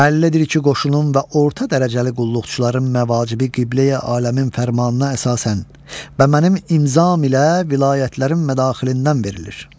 Bəllidir ki, qoşunun və orta dərəcəli qulluqçuların məvacibi qibləyi aləmin fərmanına əsasən və mənim imzam ilə vilayətlərin mədaxilindən verilir.